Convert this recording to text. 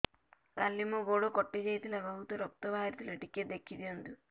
କାଲି ମୋ ଗୋଡ଼ କଟି ଯାଇଥିଲା ବହୁତ ରକ୍ତ ବାହାରି ଥିଲା ଟିକେ ଦେଖି ଦିଅନ୍ତୁ